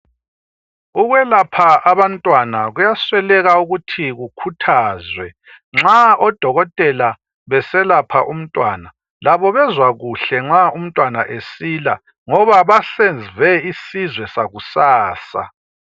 Ukwelapha abantwana kuyasweleka ukuthi kukhuthazwe .Nxa o Dokotela beselapha umntwana labo bezwa kuhle nxa umntwana esila ngoba basave isizwe sakusasa.